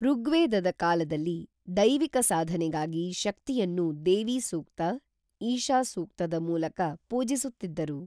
ಋಗ್ವೇದದ ಕಾಲದಲ್ಲಿ ದೈವಿಕ ಸಾಧನೆಗಾಗಿ ಶಕ್ತಿಯನ್ನು ದೇವಿ ಸೂಕ್ತ, ಈಶಾ ಸೂಕ್ತದ ಮೂಲಕ ಪೂಜಿಸುತ್ತಿದ್ದರು.